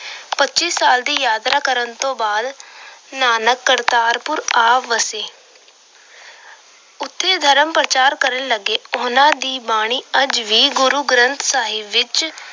ਪੱਚੀ ਸਾਲ ਦੀ ਯਾਤਰਾ ਤੋਂ ਬਾਅਦ ਨਾਨਕ ਕਰਤਾਰਪੁਰ ਆ ਵਸੇ। ਉਚੇ ਧਰਮ ਪ੍ਰਚਾਰ ਕਰਨ ਲੱਗੇ। ਉਹਨਾਂ ਦੀ ਬਾਣੀ ਅੱਜ ਵੀ ਗੁਰੂ ਗ੍ਰੰਥ ਸਾਹਿਬ ਵਿੱਚ